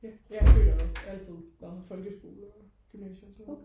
ja det har det altid været folkeskole og gymnasie og sådan noget